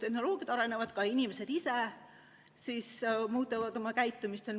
Tehnoloogiad arenevad ja ka inimesed muudavad oma käitumist.